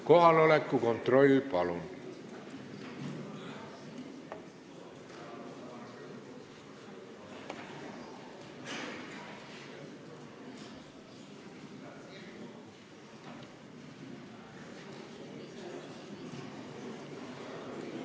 Kohaloleku kontroll, palun!